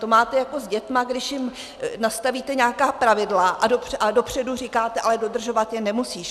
To máte jako s dětmi, když jim nastavíte nějaká pravidla a dopředu říkáte: ale dodržovat je nemusíš.